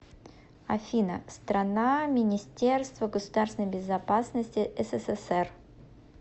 афина страна министерство государственной безопасности ссср